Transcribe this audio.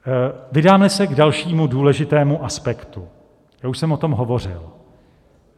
Vydáme se k dalšímu důležitému aspektu, já už jsem o tom hovořil.